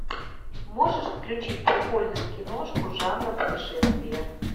можешь включить прикольную киношку жанра путешествия